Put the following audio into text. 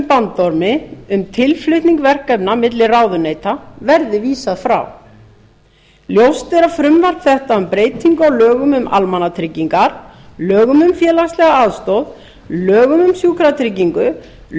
bandormi um tilflutning verkefna milli ráðuneyta verði vísað frá ljóst er að frumvarp þetta um breytingu á lögum um almannatryggingar lögum um félagslega aðstoð lögum um sjúklingatryggingu lögum